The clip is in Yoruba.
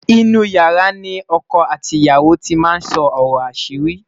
inú yàrá ní ọkọ àti ìyàwó tí má sọ ọrọ asiri